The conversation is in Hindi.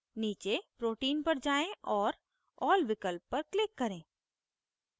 नीचे protein पर जाएँ और all विकल्प पर click करें